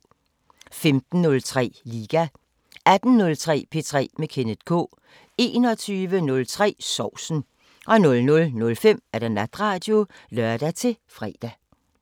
15:03: Liga 18:03: P3 med Kenneth K 21:03: Sovsen 00:05: Natradio (lør-fre)